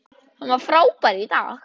Hann var frábær í dag.